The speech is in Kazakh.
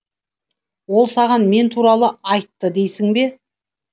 ол саған мен туралы айтты дейсің бе